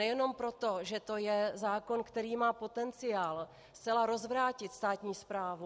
Nejenom proto, že to je zákon, který má potenciál zcela rozvrátit státní správu.